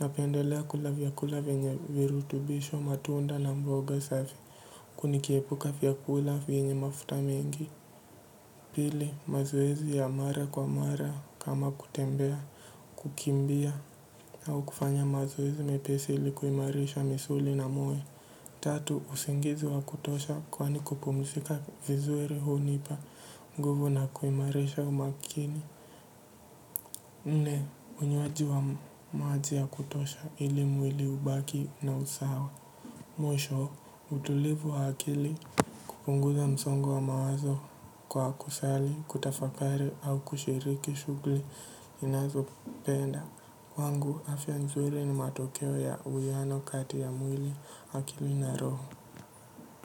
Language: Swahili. napendelea kula vyakula venye virutubisho matunda na mboga safi huku nikiepuka vyakula venye mafuta mengi pili mazoezi ya mara kwa mara kama kutembea. Kukimbia au kufanya mazoezi mepesi ili kuimarisha misuli na moyo. Tatu, usingizi wa kutosha kwani kupumizika vizuri hunipa, nguvu na kuimarisha umakini. Nne, unywaji wa maji ya kutosha ili mwili ubaki na usawa. Mwisho, utulivu wa akili kupunguza msongo wa mawazo kwa kusali, kutafakari au kushiriki shughuli ninazopenda. Kwangu afya nzuri ni matokeo ya uwiano kati ya mwili akili na roho.